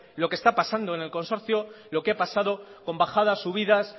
lo que está pasando en el consorcio lo que ha pasado con bajadas subidas